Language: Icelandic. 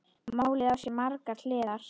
Málið á sér margar hliðar.